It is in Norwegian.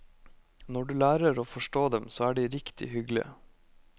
Når du lærer å forstå dem, så er de riktig hyggelige.